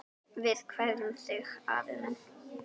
Við kveðjum þig, afi minn.